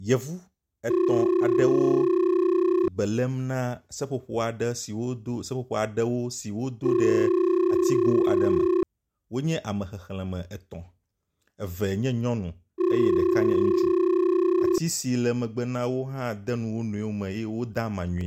Yevu etɔ̃ aɖewo be lém na seƒoƒo aɖe si wodo seƒoƒo aɖewo si wodo ɖe atigo aɖe me. Wònye ame xexlẽme etɔ̃, eve nye nyɔnu eye ɖeka nye ŋutsu. Ati si le megbe na wo hã de nu wo nɔewo me eye woda ama nyuie.